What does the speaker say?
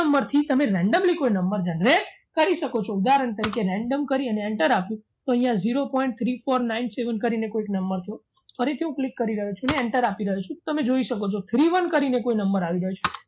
number થી તમે randomly કોઈ number generate કરી શકો છો ઉદાહરણ તરીકે random કરી અને enter આપો. તો અહીંયા zero point three four nine seven કરી ને કોઈક number જુઓ ફરીથી હું click કરી રહ્યો છું અને enter આપી રહ્યો છું તમે જોઈ શકો છો three one કરીને કોઈ number આવી ગયો છે